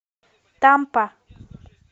тампа